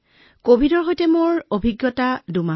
কভিডৰ সৈতে মোৰ মুঠ অভিজ্ঞতা হৈছে ২ মাহ